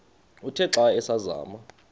uthe xa asazama